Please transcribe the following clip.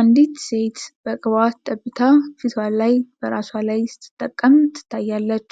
አንዲት ሴት በቅባት ጠብታ ፊት ላይ በራሷ ላይ ስትጠቀም ትታያለች።